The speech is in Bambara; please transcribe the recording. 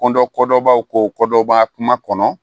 Ko dɔ ko dɔ b'aw ko ko dɔ b'a kuma kɔnɔ